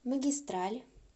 магистраль